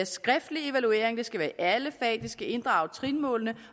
skriftlig evaluering at det skal være i alle fag det skal inddrage trinmålene